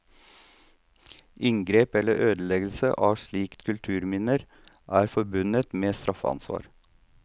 Inngrep eller ødeleggelse av slike kulturminner er forbundet med straffeansvar.